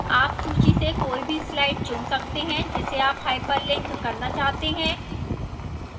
आप सूची से कोई भी slide चुन सकते हैं जिसे आप hyperlink करना चाहते हैं